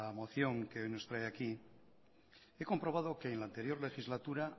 moción que hoy nos trae aquí he comprobado que en la anterior legislatura